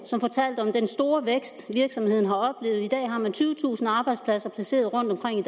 som fortalte om den store vækst virksomheden har oplevet i dag har man tyvetusind arbejdspladser placeret rundtomkring i